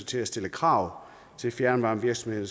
til at stille krav til fjernvarmevirksomheder